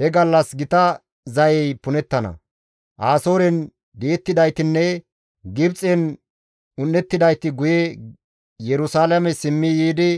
He gallas gita zayey punettana; Asooren di7ettidaytinne Gibxen un7ettidayti guye Yerusalaame simmi yiidi